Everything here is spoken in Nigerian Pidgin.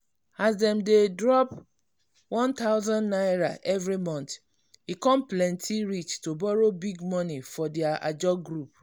as dem dey drop n1000 every month e come plenty reach to borrow big money for their ajo group.